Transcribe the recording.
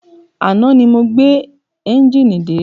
Àná ni mo gbé ẹ́njìnì dé.